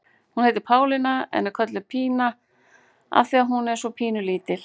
Hún heitir Pálína en er kölluð Pína af því að hún er svo pínu lítil.